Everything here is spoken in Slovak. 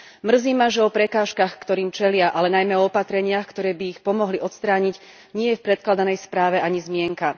Mrzí ma, že o prekážkach, ktorým čelia, ale najmä o opatreniach, ktoré by ich pomohli odstrániť, nie je v predkladanej správe ani zmienka.